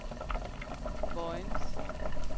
Vojens